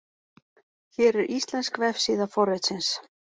Hér er íslensk vefsíða forritsins.